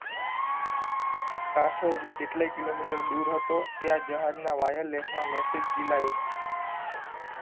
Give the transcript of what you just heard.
કાંઠો હજુ કેટલાય કિલોમીટર દૂર હતો ત્યાં જહાજનાં wireless માં message જીલાયો